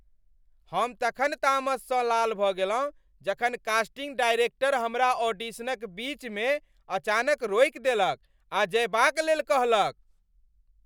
हम तखन तामसँ लाल भऽ गेलहुँ जखन कास्टिंग डायरेक्टर हमरा ऑडिशनक बीच मे अचानक रोकि देलक आ जएबाक लेल कहलक।